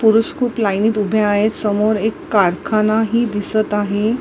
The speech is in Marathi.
पुरुष खूप लाईनीत उभे आहेत समोर एक कारखाना ही दिसत आहे.